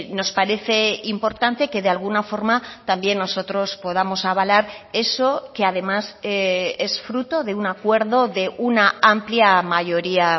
nos parece importante que de alguna forma también nosotros podamos avalar eso que además es fruto de un acuerdo de una amplia mayoría